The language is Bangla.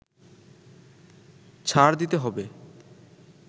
ছাড় দিতে হবে